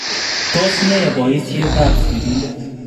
Tos ne bayiisyetaab siriindet?